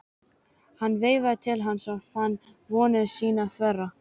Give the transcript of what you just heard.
Hún veifaði til hans og hann fann vonir sínar þverra.